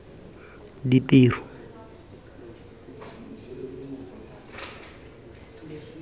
ditiro